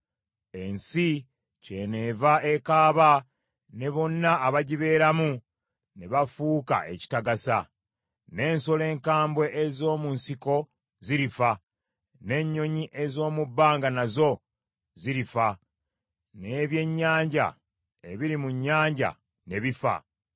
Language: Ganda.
Ensi kyeneeva ekaaba, ne bonna abagibeeramu ne bafuuka ekitagasa; n’ensolo enkambwe ez’omu nsiko zirifa, n’ennyonyi ez’omu bbanga nazo zirifa, n’ebyennyanja ebiri mu nnyanja ne bifa.